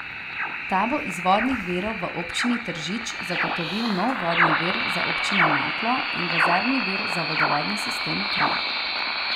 Ta bo iz vodnih virov v občini Tržič zagotovil nov vodni vir za občino Naklo in rezervni vir za vodovodni sistem Kranj.